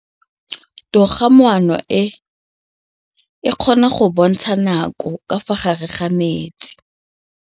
Toga-maanô e, e kgona go bontsha nakô ka fa gare ga metsi.